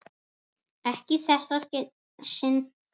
Ekki í þetta sinn.